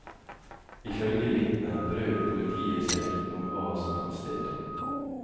Ifølge vitner brød politiet seg ikke om hva som fant sted.